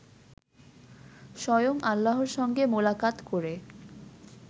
স্বয়ং আল্লাহর সঙ্গে মোলাকাত করে